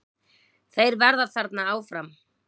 Þeir verða þarna áfram.